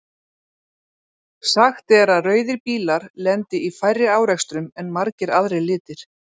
Sagt er að rauðir bílar lendi í færri árekstrum en margir aðrir litir.